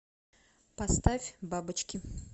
поставь бабочки